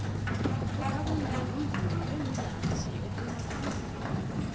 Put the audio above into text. ukhabonino mvumi bemudansi ophuma phambilo